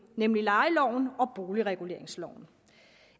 nemlig lejeloven og boligreguleringsloven